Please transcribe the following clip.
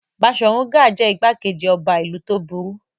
Baṣọ̀run Gáà jẹ́ ìgbákejì ọba ìlú tó burú.